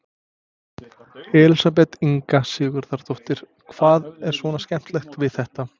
Elísabet Inga Sigurðardóttir: Hvað er svona skemmtilegt við þetta?